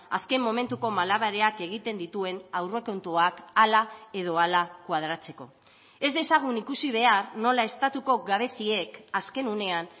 azken momentuko malabareak egiten dituen aurrekontuak hala edo hala koadratzeko ez dezagun ikusi behar nola estatuko gabeziek azken unean